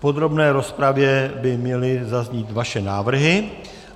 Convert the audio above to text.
V podrobné rozpravě by měly zaznít vaše návrhy.